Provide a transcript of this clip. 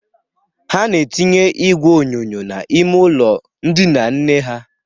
Ha na-etinye igwe onyonyo n'ime ụlọ ndịna nne ha.